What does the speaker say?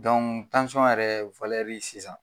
tansiyɔn yɛrɛ valɛri sisan.